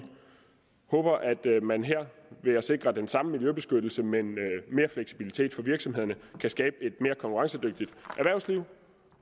håber at man her ved at sikre den samme miljøbeskyttelse med mere fleksibilitet for virksomhederne kan skabe et mere konkurrencedygtigt erhvervsliv